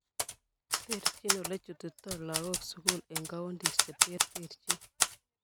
Terjin olechutitoi lagok sukul eng counties che terterjin